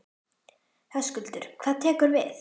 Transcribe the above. Höskuldur: Hvað tekur við?